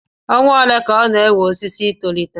Ọnwa ole ka ọ na-ewe osisi I tolite